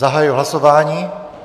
Zahajuji hlasování.